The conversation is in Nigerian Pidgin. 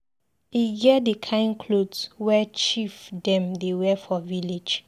E get di kain clot wey chief dem dey wear for village.